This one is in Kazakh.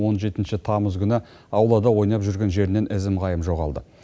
он жетінші тамыз күні аулада ойнап жүрген жерінен ізім ғайым жоғалды